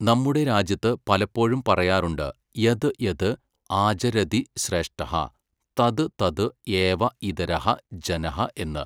നമ്മുടെ രാജ്യത്ത് പലപ്പോഴും പറയാറുണ്ട് യത് യത് ആചരതി ശ്രേഷ്ഠഃ, തത് തത് ഏവ ഇതരഃ ജനഃ എന്ന്.